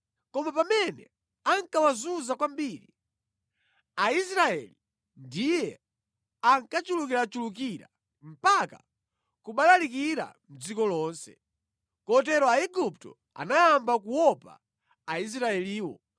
Koma pamene ankawazunza kwambiri, Aisraeli ndiye ankachulukirachulukira mpaka kubalalikira mʼdziko lonse. Kotero Aigupto anayamba kuopa Aisraeliwo